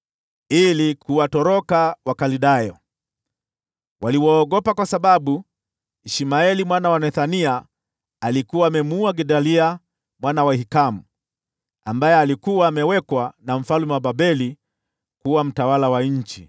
ili kuwatoroka Wakaldayo. Waliwaogopa kwa sababu Ishmaeli mwana wa Nethania alikuwa amemuua Gedalia mwana wa Ahikamu, ambaye alikuwa amewekwa na mfalme wa Babeli kuwa mtawala wa nchi.